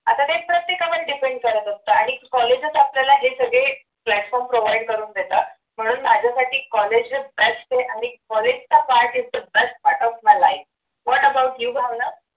आता काय प्रत्येकावर depend करत असतं आणि कॉलेजेस आपल्याला हे सगळे platform provide करून देतात पण माझ्यासाठी कॉलेजेस best आहे आणि कॉलेजचा part is the best part of my lifewhat about you Bhavana